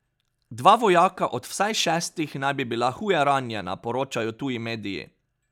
Dva vojaka od vsaj šestih naj bi bila huje ranjena, poročajo tuji mediji.